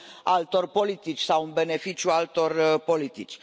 altor politici sau în beneficiul altor politici.